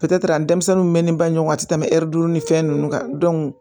denmisɛnninw mɛ ni bange ɲɔgɔn ti tɛmɛ ɛri duuru ni fɛn nunnu kan